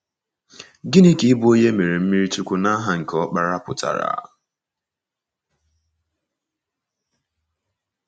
Gịnị ka ịbụ onye e mere mmiri chukwu ‘n’aha nke Ọkpara’ pụtara?